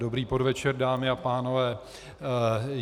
Dobrý podvečer, dámy a pánové.